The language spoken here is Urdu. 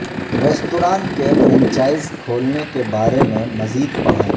ریستوران کے فرنچائز کھولنے کے بارے میں مزید پڑھیں